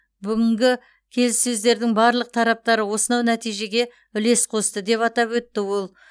бүгінгі келіссөздердің барлық тараптары осынау нәтижеге үлес қосты деп атап өтті ол